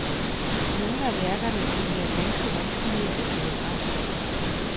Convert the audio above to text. Nogle af værkerne kan være ganske vanskelige at finde frem til.